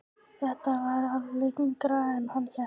Þetta var lengra en hann hélt.